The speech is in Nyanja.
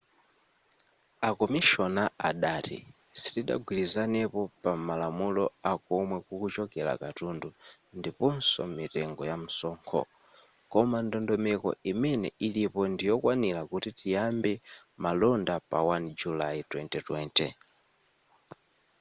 a komishona adati sitidagwirizanepo pa malamulo akomwe kukuchokera katundu ndiponso mitengo yamsonkho koma ndondomeko imene ilipo ndiyokwanira kuti tiyambe malonda pa 1 julayi 2020